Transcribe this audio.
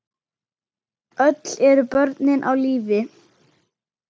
Öll eru börnin á lífi.